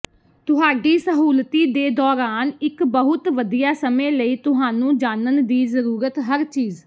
ਤੁਹਾਡੀ ਸਹੁਲਤੀ ਦੇ ਦੌਰਾਨ ਇੱਕ ਬਹੁਤ ਵਧੀਆ ਸਮੇਂ ਲਈ ਤੁਹਾਨੂੰ ਜਾਣਨ ਦੀ ਜ਼ਰੂਰਤ ਹਰ ਚੀਜ਼